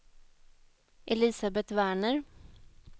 Elisabet Werner